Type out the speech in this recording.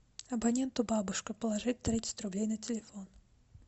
абоненту бабушка положить тридцать рублей на телефон